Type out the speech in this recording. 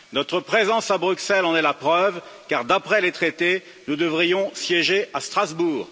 Notre présence à Bruxelles en est la preuve car d'après les traités, nous devrions siéger à Strasbourg.